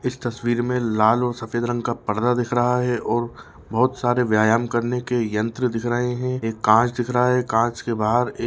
इस तस्वीर में लाल और सफेद रंग का पर्दा दिख रहा है और बहुत सारे व्यायाम करने के यंत्र दिख रहे हैं एक कांच दिख रहा है कांच के बाहर एक--